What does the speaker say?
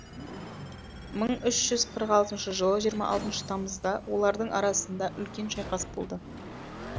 мың үш жүз қырық алтыншы жылы жиырма алтыншы тамызда олардың арасында үлкен шайқас болды